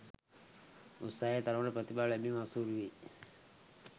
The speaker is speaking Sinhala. උත්සාහයේ තරමට ප්‍රතිඵල ලැබිම අසීරු වෙයි